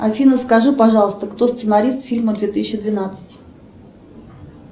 афина скажи пожалуйста кто сценарист фильма две тысячи двенадцать